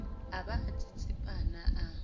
a ba a tsitsipana a